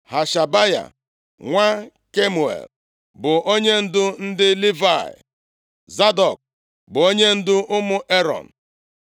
Hashabaya nwa Kemuel bụ onyendu ndị Livayị; Zadọk bụ onyendu ụmụ Erọn;